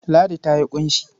Ladi ta yi ƙunshi.